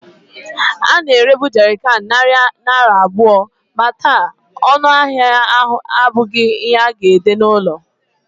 A na-erebu Jerrycans narị naira abụọ, ma taa, ọnụ ahịa ahụ abụghị ihe a ga-ede n'ụlọ.